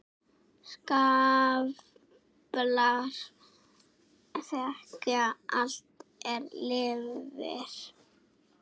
Skaflar þekja allt er lifir.